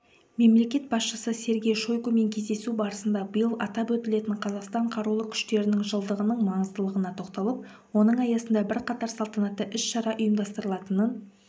мемлекет басшысы сергей шойгумен кездесу барысында биыл атап өтілетін қазақстан қарулы күштерінің жылдығының маңыздылығына тоқталып оның аясында бірқатар салтанатты іс-шара ұйымдастырылатынын